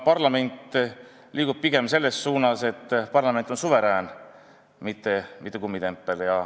Riigikogu liigub pigem selles suunas, et parlament on suverään, mitte kummitempel.